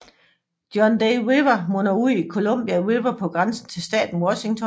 John Day River munder ud i Columbia River på grænsen til staten Washington